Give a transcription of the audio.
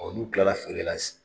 Ɔ nu kilara feerela